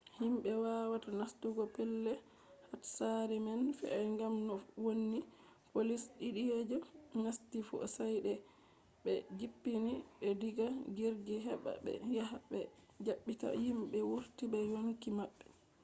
himɓe wawata nastugo pellel hatsari man fe’i gam no wonni poliici ɗiɗi je nasti fu sai de ɓbe jippini ɓe diga jirgi heɓa ɓe yaha ɓe ɗaɓɓita himɓe wurti be yonki maɓɓe